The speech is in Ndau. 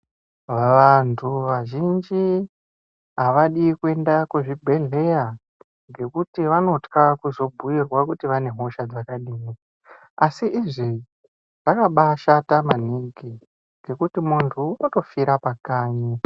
Vantu vazhinji havadi kuenda kuzvibhedhleya ngekuti vanotwa kuzobhuirwa kuti vane hosha dzakadini. Asi izvi zvakabashata maningi ngekuti muntu unotofira pakanyi.